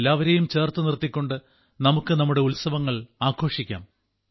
എല്ലാവരെയും ചേർത്തു നിർത്തിക്കൊണ്ട് നമുക്ക് നമ്മുടെ ഉത്സവങ്ങൾ ആഘോഷിക്കാം